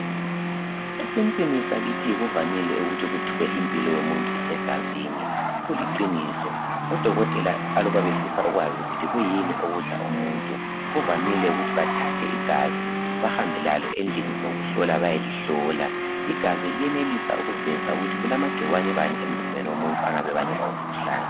esintwini sakithi kuvamile ukuthi kuthwe impilo yomuntu isegazini kuliqiniso odokotela aluba befisa ukwazi ukuthi kuyini okudla umuntu kuvamile ukuthi bathathe igazi bahambe lalo endlini zokuhlola bayelihlola igazi liyenelisa ukuveza ukuthi kulamagcikwane bani emzimbeni womuntu angabe ebangela umkhuhlane